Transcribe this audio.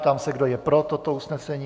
Ptám se, kdo je pro toto usnesení.